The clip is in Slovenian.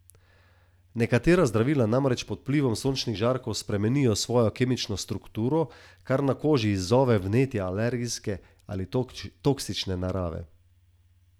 Nekatera zdravila namreč pod vplivom sončnih žarkov spremenijo svojo kemično strukturo, kar na koži izzove vnetja alergijske ali toksične narave.